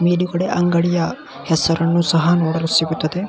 ಮೇಲುಗಡೆ ಅಂಗಡಿಯ ಹೆಸರನ್ನು ಸಹ ನೋಡಲು ಸಿಗುತ್ತದೆ .